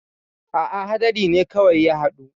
A'a haɗari kawai ne ya haɗu.